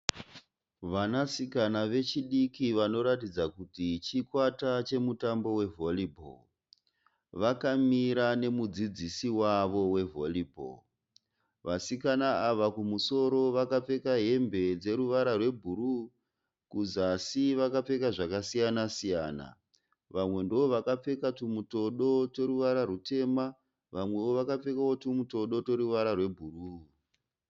Vanasikana vechidiki vanoratidza kuti chikwata che mutambo we valley ball. Vakamira nemudzidziisi wavo we valley ball. Vasikana ava kumusoro vakapfeka hembe dze ruvara rwe bhuruu. Kuzasi vakapfeka zvakasiyana- siyana. Vamwe ndovakapfeka tumutodo tweruvara rutema vamwe wo vakapfeka tumutodo tweruvara rwe bhuruu.